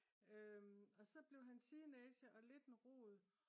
og så blev han teenager og lidt en rod